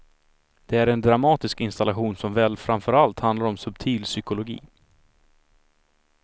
Det är en dramatisk installation som väl framförallt handlar om subtil psykologi.